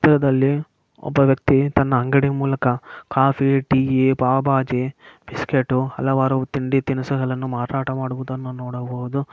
ಈ ಚಿತ್ರದಲ್ಲಿ ಒಬ್ಬ ವ್ಯಕ್ತಿ ತನ್ನ ಅಂಗಡಿಯ ಮೂಲಕ ಕಾಫ್ಫ್ ಟೀ ಬಿಸ್ಕತ್ ಮಾರಾಟ ಮಾಡುವುದನ್ನು ನೋಡಬಹುದು